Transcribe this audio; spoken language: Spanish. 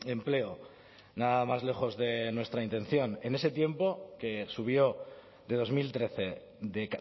empleo nada más lejos de nuestra intención en ese tiempo que subió de dos mil trece de